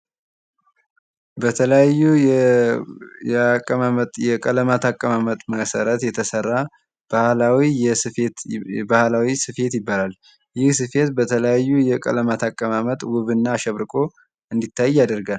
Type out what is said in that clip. የተለያዩ የቀለማት አቀማመጥ መሰረት የተሰራ ባህላዊ ስፌት ይባላል። ይህ ስፌት በተለያዩ የቀለማት አቀማመጥ ውብ እና አሸብርቆ እንዲታይ ያደርጋል።